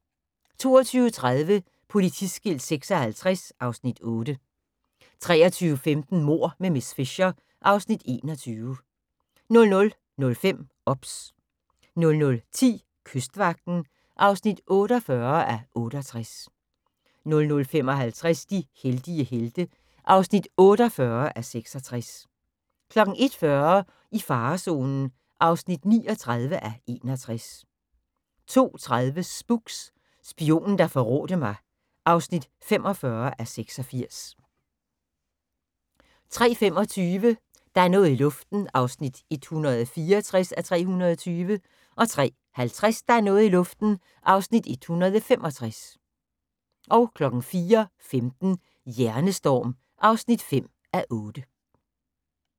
22:30: Politiskilt 56 (Afs. 8) 23:15: Mord med miss Fisher (Afs. 21) 00:05: OBS 00:10: Kystvagten (48:68) 00:55: De heldige helte (48:66) 01:40: I farezonen (39:61) 02:30: Spooks: Spionen, der forrådte mig (45:86) 03:25: Der er noget i luften (164:320) 03:50: Der er noget i luften (165:320) 04:15: Hjernestorm (5:8)